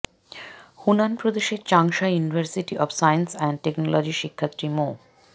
Hunan প্রদেশের Changsha university of science and টেকনোলজির শিক্ষার্থী মো